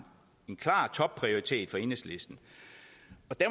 klar topprioritet for enhedslisten